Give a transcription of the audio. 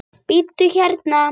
Bíddu hérna.